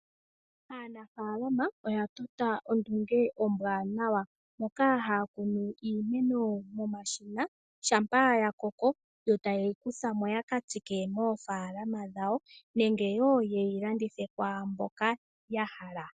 Aanafaalama oya tota ondunge ombwaanawa moka haya kunu iimeno momashina. Shampa ya koko yo taye yikuthamo yakatsike moofaalama dhawo nenge wo ya landithe kwaamboka ya hala.